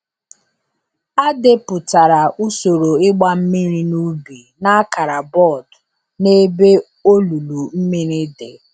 A depụtara usoro ịgba mmiri n’ubi n’akara bọọdụ n’ebe olulu mmiri dị.